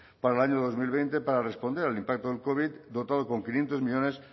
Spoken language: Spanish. para el año dos mil veinte para responder al impacto del covid dotado con quinientos millónes